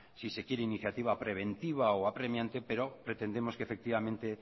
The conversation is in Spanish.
si se quiere en una iniciativa preventiva o apremiante pero pretendemos efectivamente